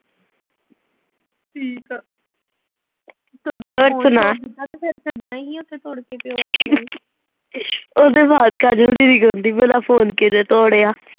ਉਹ ਤੋਂ ਆਵਾਜ ਕਰ ਜਾਂਦੀ ਸੀ ਮੇਰਾ phone ਕਿੰਨੇ ਤੋੜਿਆ।